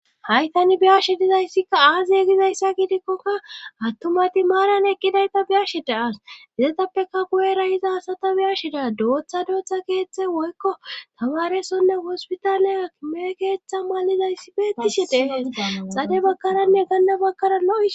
haytani biyashe dizayssikka aaziye gizayssa gidikkoka attumati maaran eqqidayta biyashe da as dizetappeka kuwera hiza asata biyashe da dooththa dooththa keeththe woykko tawaaresonne hospitaaleya me keeththa malizayssi beettishidee xade bakkaranne ganla bakaralo